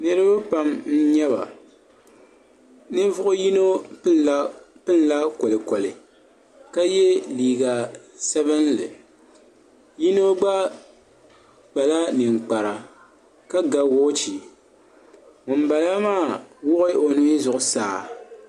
niriba pam n-nyɛ ba ninvuɣ' yino pini la kolikoli ka ye liiga sabinli yino gba kpala ninkpara ka ga wɔchi ŋun bala maa wuɣi o nuhi zuɣusaa.